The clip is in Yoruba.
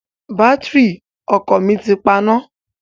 Bátìrì ọkọ̀ mi ti paná.